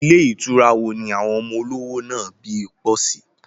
Ilé ìtura wo ni àwọn ọmọ olówò nàbì pọ̀ sí?